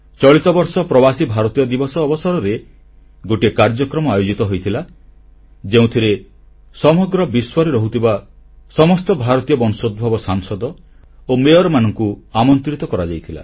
ଚଳିତ ବର୍ଷ ପ୍ରବାସୀ ଭାରତୀୟ ଦିବସ ଅବସରରେ ଗୋଟିଏ କାର୍ଯ୍ୟକ୍ରମ ଆୟୋଜିତ ହୋଇଥିଲା ଯେଉଁଥିରେ ସମଗ୍ର ବିଶ୍ୱରେ ରହୁଥିବା ସମସ୍ତ ଭାରତୀୟ ବଂଶୋଦ୍ଭବ ସାଂସଦ ଓ ମେୟରମାନଙ୍କୁ ଆମନ୍ତ୍ରିତ କରାଯାଇଥିଲା